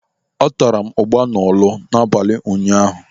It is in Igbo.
Atara m ụgba n'Ọlụ n'abalị ụnyaahụ.